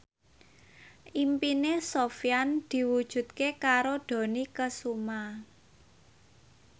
impine Sofyan diwujudke karo Dony Kesuma